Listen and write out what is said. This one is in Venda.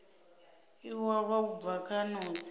iwalwa u bva kha notsi